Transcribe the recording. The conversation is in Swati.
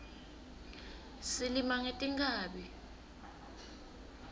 silima ngetinkhabi